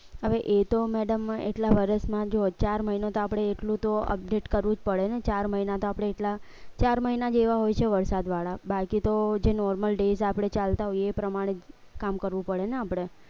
હવે એ તો madam માં એટલા વરસમાં જો ચાર મહિનો તો આપણે એટલું તો update કરવું જ પડે ને ચાર મહિના તો આપણે એટલા ચાર મહિના જેવા હોય છે વરસાદ વાળા બાકી તો જે normaldays આપણે ચાલતા હોય એ પ્રમાણે કામ કરવું પડે ને આપણે